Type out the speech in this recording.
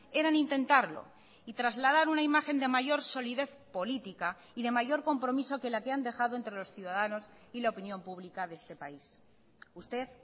eran intentarlo y trasladar una imagen de mayor solidez política y de mayor compromiso que la que han dejado entre los ciudadanos y la opinión pública de este país usted